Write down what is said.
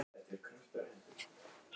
En hvað vissi hún um Ísland?